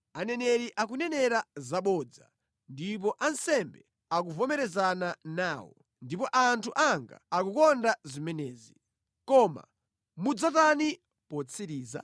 Aneneri akunenera zabodza, ndipo ansembe akuvomerezana nawo, ndipo anthu anga akukonda zimenezi. Koma mudzatani potsiriza?